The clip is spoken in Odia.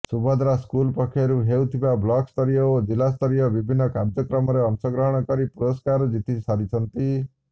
ସୁଭଦ୍ରା ସ୍କୁଲ୍ ପକ୍ଷରୁ ହେଉଥିବା ବ୍ଲକ୍ସ୍ତରୀୟ ଓ ଜିଲ୍ଲାସ୍ତରୀୟ ବିଭିନ୍ନ କାର୍ୟ୍ୟକ୍ରମରେ ଅଂଶଗ୍ରହଣ କରି ପୁରସ୍କାର ଜିତି ସାରିଛନ୍ତି